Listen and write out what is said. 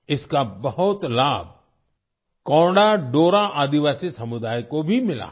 इसका बहुत लाभ कोंडा डोरा आदिवासी समुदाय को भी मिला है